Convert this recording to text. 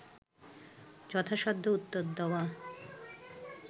যথাসাধ্য উত্তর দেওয়া